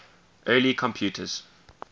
early computers